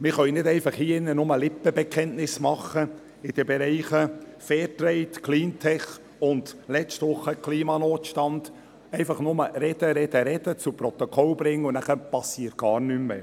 Wir können hier drin in den Bereichen Fairtrade, Cleantec und letzte Woche Klimanotstand nicht einfach nur Lippenbekenntnisse abgeben, einfach nur reden, reden, reden, zu Protokoll bringen, und danach passiert gar nichts mehr.